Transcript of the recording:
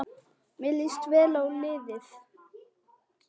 Mér líst vel á liðið.